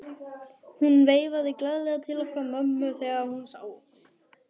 Hún veifaði glaðlega til okkar mömmu þegar hún sá okkur.